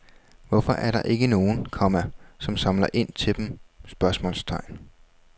Hvorfor er der ikke nogen, komma som samler ind til dem? spørgsmålstegn